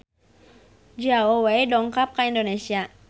Zhao Wei dongkap ka Indonesia